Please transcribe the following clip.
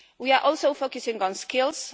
on. We are also focusing on skills.